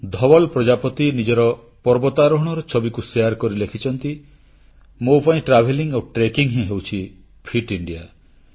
ଧୱଲ ପ୍ରଜାପତି ନିଜର ପର୍ବତାରୋହଣର ଛବିକୁ ଶେୟାର କରି ଲେଖିଛନ୍ତି ମୋ ପାଇଁ ପରିଭ୍ରମଣ ଆଉ ପର୍ବତାରୋହଣ ହିଁ ହେଉଛି ଫିଟ୍ ଇଣ୍ଡିଆ